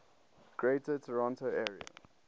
greater toronto area